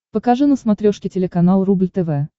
покажи на смотрешке телеканал рубль тв